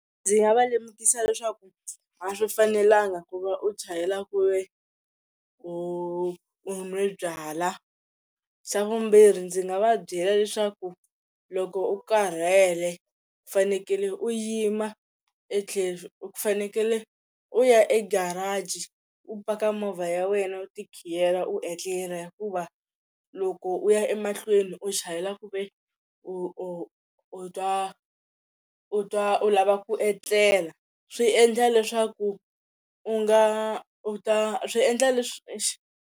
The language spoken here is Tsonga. Ndzi nga va lemukisa leswaku a swi fanelanga ku va u chayela ku ve u nwe byala xa vumbirhi ndzi nga va byela leswaku loko u karhele u fanekele u yima e tlhelo fanekele u ya egarage u paka movha ya wena u tikhiyetela u etlela hikuva loko u ya emahlweni u chayela ku ve u u twa u twa u lava ku etlela swi endla leswaku u nga u ta swi endla leswi .